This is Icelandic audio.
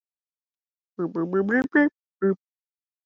Magnús: Er þetta heitt mál í sveitarfélaginu?